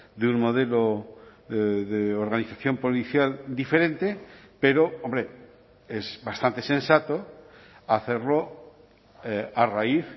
de un modelo de organización policial diferente pero hombre es bastante sensato hacerlo a raíz